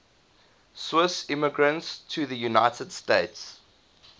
swiss immigrants to the united states